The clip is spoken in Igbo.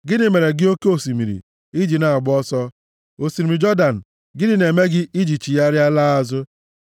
Gịnị mere gị oke osimiri, i ji na-agba ọsọ? Osimiri Jọdan, gịnị na-eme gị i ji chigharịa laa azụ?